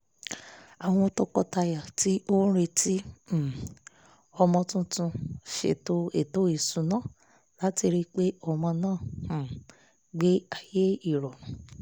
àwọn tọkọtaya tí ó retí um ọmọ tuntun ṣètò ètò ìṣúná láti rí pé ọmọ náà um gbé ayé ìrọ̀rùn